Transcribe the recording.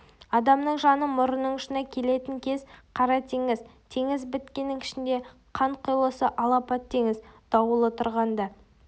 адамның жаны мұрнының ұшына келетін кез қара теңіз теңіз біткеннің ішіндегі қанқұйлысы алапат теңіз дауылы тұрғанда